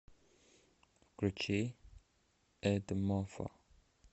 включи эдмофо